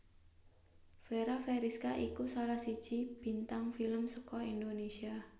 Fera Feriska iku salah siji bintang film saka Indonesia